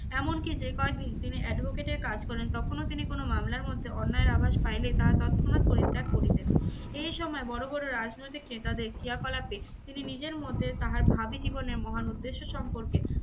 এমনকি যে কয়দিন দিনে advocate এর কাজ করেন তখনও তিনি কোনো মামলার মধ্যে অন্যায় এর আভাস পাইলে তাহা তৎক্ষণাৎ পরিত্যাগ করিতেন। এই সময় বড়ো বড়ো রাজনৈতিক নেয়াদের ক্রিয়াকলাপে তিনি নিজের মধ্যে তাহার ভাবী জীবনের মহান উদেশ্য সম্পর্কে